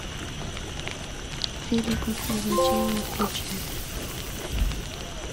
фильм пункт назначения включи